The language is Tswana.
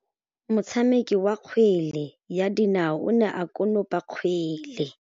Motshameki wa kgwele ya dinaô o ne a konopa kgwele.